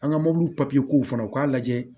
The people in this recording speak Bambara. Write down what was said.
An ka mɔbilikɔnɔw fana u k'a lajɛ